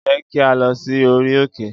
Jẹ ki a lọ si ori òkè!